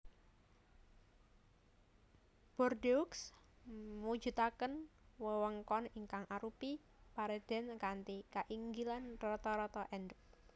Bordeaux mujudaken wewengkon ingkang arupi paredèn kanthi kainggilan rata rata endhèp